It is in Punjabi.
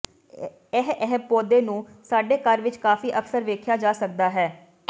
ਇਹ ਇਹ ਪੌਦੇ ਨੂੰ ਸਾਡੇ ਘਰ ਵਿਚ ਕਾਫ਼ੀ ਅਕਸਰ ਵੇਖਿਆ ਜਾ ਸਕਦਾ ਹੈ